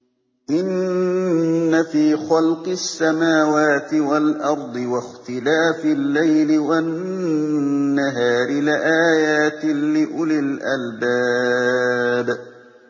إِنَّ فِي خَلْقِ السَّمَاوَاتِ وَالْأَرْضِ وَاخْتِلَافِ اللَّيْلِ وَالنَّهَارِ لَآيَاتٍ لِّأُولِي الْأَلْبَابِ